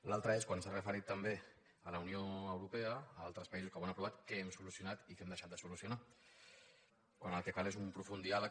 l’altre és quan s’ha referit també a la unió europea a altres països que ho han aprovat què hem solucionat i què hem deixat de solucionar quan el que cal és un profund diàleg